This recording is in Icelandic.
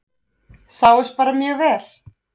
Sáust bara mjög vel.